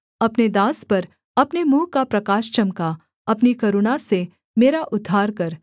अपने दास पर अपने मुँह का प्रकाश चमका अपनी करुणा से मेरा उद्धार कर